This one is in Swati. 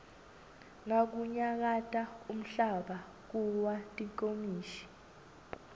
nakunyakata umhlaba kuwa tinkomishi